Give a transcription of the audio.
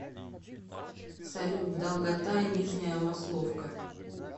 салют долгота нижняя масловка